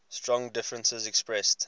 strong differences expressed